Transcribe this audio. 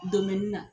na